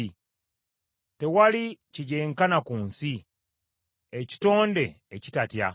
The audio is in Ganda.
Tewali kigyenkana ku nsi; ekitonde ekitatya.